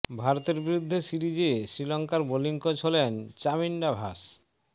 ভারতের বিরুদ্ধে সিরিজে শ্রীলঙ্কার বোলিং কোচ হলেন চামিন্ডা ভাস